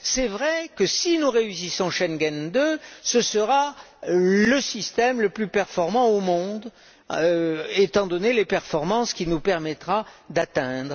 C'est vrai que si nous réussissons Schengen II, ce sera le système le plus performant au monde étant donné les performances qu'il nous permettra d'atteindre.